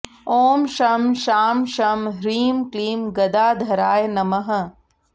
ॐ शं शां षं ह्रीं क्लीं गदाधराय नमः